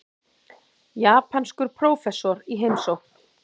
Japanskur prófessor í heimsókn.